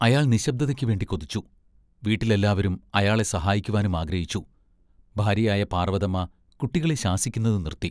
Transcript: അയാൾ നിശ്ശബ്ദതയ്ക്ക് വേണ്ടി കൊതിച്ചു. വീട്ടിലെല്ലാവരും അയാളെ സഹായിക്കുവാനും ആഗ്രഹിച്ചു. ഭാര്യയായ പാർവതമ്മ കുട്ടികളെ ശാസിക്കുന്നത് നിർത്തി.